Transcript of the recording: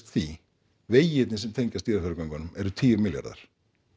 því vegirnir sem tengjast Dýrafjarðargöngunum eru tíu milljarðar